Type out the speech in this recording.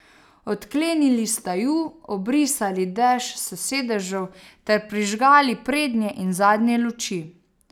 Odklenili sta ju, obrisali dež s sedežev ter prižgali prednje in zadnje luči.